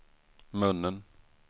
munnen